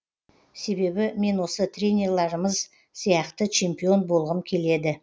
себебі мен осы тренерларымыз сияқты чемпион болғым келеді